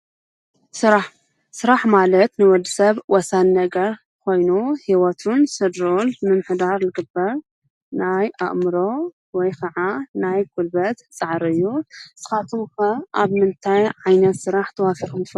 ስራሕ፡- ስራሕ ማለት ንወዲ ሰብ ወሳኒ ነገር ኾይኑ ህይወቱን ሰድርኡን ልምምኅዳር ልግበር ናይ ኣእምሮ ወይ ከዓ ናይ ጕልበት ፃዕሪ እዩ፡፡ ንስኻትኩም ኸ ኣብ ምንታይ ዓይነት ስራሕ ተዋፊርኩም ትፈለጡ?